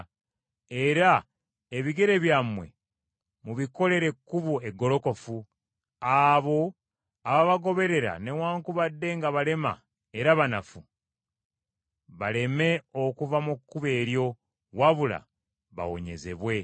era ebigere byammwe mubikolere ekkubo eggolokofu, abo ababagoberera newaakubadde nga balema era banafu, baleme okuva mu kkubo eryo, wabula bawonyezebwe.